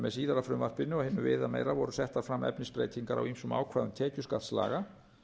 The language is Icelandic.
með síðara frumvarpinu og hinu viðameira voru settar fram efnisbreytingar á ýmsum ákvæðum tekjuskattslaga